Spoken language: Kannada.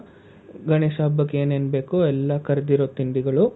ಗಣೇಶ ಹಬ್ಬಕೆ ಏನೇನ್ ಬೇಕೊ ಎಲ್ಲಾ ಕರ್ದಿರೋ ತಿಂಡಿಗಳು,